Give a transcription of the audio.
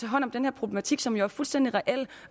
hånd om den her problematik som er fuldstændig reel